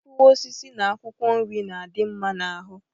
Mkpụrụ osisi na akwụkwọ nri na-adị mma n'ahụ